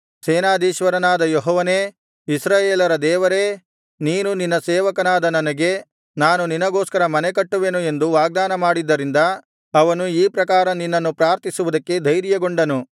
ಸೇನಾಧೀಶ್ವರನಾದ ಯೆಹೋವನೇ ಇಸ್ರಾಯೇಲರ ದೇವರೇ ನೀನು ನಿನ್ನ ಸೇವಕನಾದ ನನಗೆ ನಾನು ನಿನಗೋಸ್ಕರ ಮನೆ ಕಟ್ಟುವೆನು ಎಂದು ವಾಗ್ದಾನ ಮಾಡಿದ್ದರಿಂದ ಅವನು ಈ ಪ್ರಕಾರ ನಿನ್ನನ್ನು ಪ್ರಾರ್ಥಿಸುವುದಕ್ಕೆ ಧೈರ್ಯಗೊಂಡನು